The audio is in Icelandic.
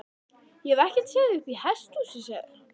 Ég hef ekkert séð þig uppi í hesthúsi, sagði hann.